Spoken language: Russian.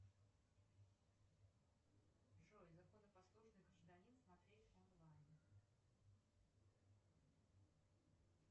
джой законопослушный гражданин смотреть онлайн